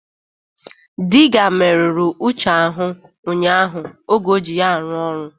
Diga merụrụ Uche ahụ ụnyaahụ oge o ji ya arụ-ọrụ